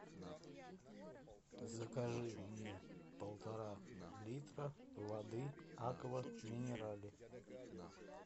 закажи мне полтора литра воды аква минерале